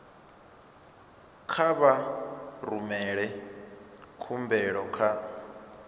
kha vha rumele khumbelo kha